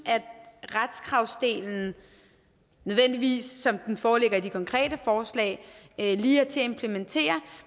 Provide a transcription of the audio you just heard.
at retskravsdelen nødvendigvis som den foreligger i de konkrete forslag er lige til at implementere